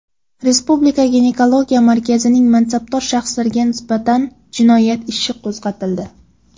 Respublika ginekologiya markazining mansabdor shaxslariga nisbatan jinoyat ishi qo‘zg‘atildi.